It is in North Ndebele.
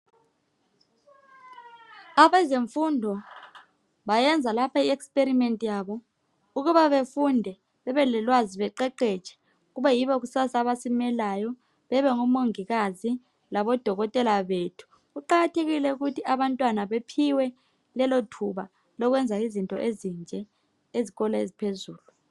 Abezemfundo bayenza lapho iexperiment yabo ukuba befunde bebelolwazi beqeqetshe kube yibo kusasa abasimelayo bebe ngomongikazi labodokotela bethu kuqakathekile ukuthi abantwana bephiwe lelo thuba lokwenza izinto ezinje ezikolo eziphezulu.